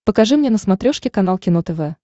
покажи мне на смотрешке канал кино тв